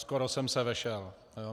Skoro jsem se vešel.